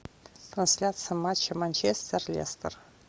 трансляция матча манчестер лестер